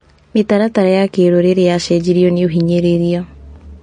Mĩtaratara ya kĩrũrĩrĩ yecenjirio nĩ ũhinyĩrĩria.